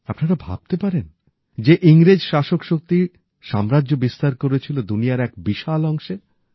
আপনারা ভাবতে পারেন যে ইংরেজ শাসকশক্তি সাম্রাজ্য বিস্তার করেছিল দুনিয়ার এক বিশাল অংশে